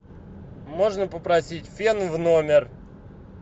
можно попросить фен в номер